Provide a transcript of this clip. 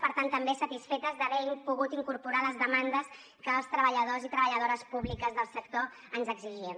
per tant també satisfetes d’haver pogut incorporar les demandes que els treballadors i treballadores públiques del sector ens exigien